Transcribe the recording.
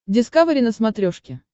дискавери на смотрешке